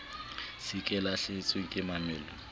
se ke lahlehetswe ke mamello